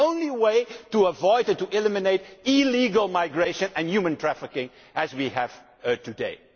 It is the only way to avoid and eliminate illegal migration and human trafficking such as we have